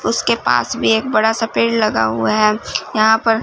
उसके पास भी एक बड़ा सा पेड़ लगा हुआ है यहां पर--